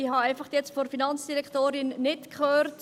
Ich habe jetzt einfach von der Finanzdirektorin nicht gehört …